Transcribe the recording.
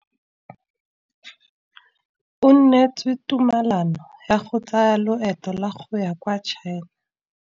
O neetswe tumalanô ya go tsaya loetô la go ya kwa China.